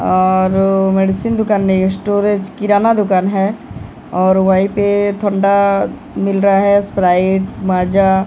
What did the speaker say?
और मेडिसिन दुकान नहीं है स्टोरेज किराना दुकान है और वहीं पे ठंडा मिल रहा है स्प्राइट माजा ।